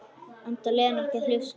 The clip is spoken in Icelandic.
Enda Lena ekki að hlusta.